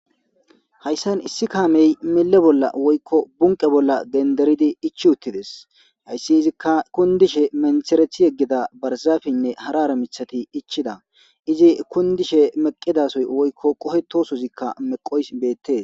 Hayssan issi kaamey bunqqe bolla woykko lanqe bolla genderidi iichchi uuttides hayssi iizikka kundishe menththereththi yegida barzappeynne hara hara miishshata iichchida izi kundishe meeqidasozi woykko qoohetosozikka meeqoyssi beettes